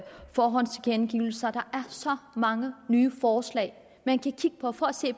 forhåndstilkendegivelser der er så mange nye forslag man kan kigge på for at se